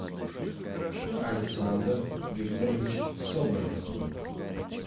александр викторович соболев